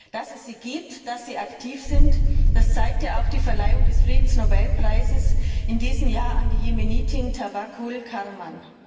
Dass es sie gibt, dass sie aktiv sind, das zeigt ja auch die Verleihung des Friedensnobelpreises in diesem Jahr an die Jemenitin Tawakkul Karman.